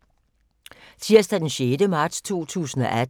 Tirsdag d. 6. marts 2018